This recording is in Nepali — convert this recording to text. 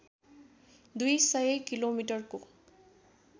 दुई सय किलोमिटरको